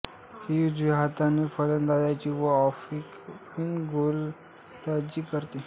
ही उजव्या हाताने फलंदाजी व ऑफस्पिन गोलंदाजी करते